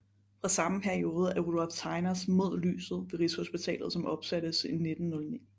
Fra samme periode er Rudolph Tegners Mod lyset ved Rigshospitalet som opsattes i 1909